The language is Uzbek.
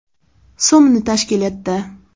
so‘mni tashkil etdi.